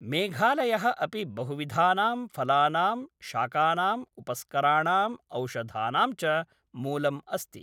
मेघालयः अपि बहुविधानां फलानाम्, शाकानाम्, उपस्कराणम्, औषधानां च मूलम् अस्ति।